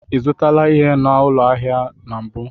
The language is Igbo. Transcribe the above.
I zụtala ihe n'ụlọ ahịa a mbụ?